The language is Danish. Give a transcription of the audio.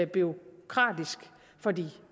bureaukratisk for de